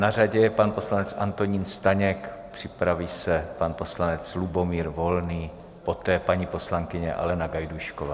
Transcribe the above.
Na řadě je pan poslanec Antonín Staněk, připraví se pan poslanec Lubomír Volný, poté paní poslankyně Alena Gajdůšková.